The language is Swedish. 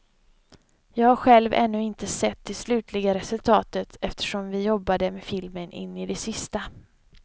Jag har själv ännu inte sett det slutliga resultatet, eftersom vi jobbade med filmen in i det sista.